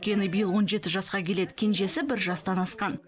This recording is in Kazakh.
үлкені биыл он жеті жасқа келеді кенжесі бір жастан асқан